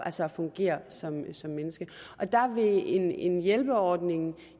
altså fungere som som menneske og der vil en hjælperordning